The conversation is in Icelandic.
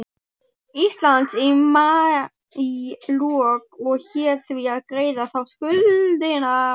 Íslands í maílok og hét því að greiða þá skuldina.